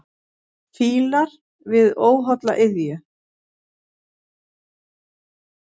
Fílar við óholla iðju.